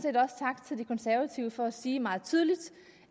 set konservative for at sige meget tydeligt